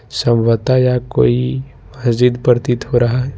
संभवतः यह कोई मस्जिद प्रतीत हो रहा है।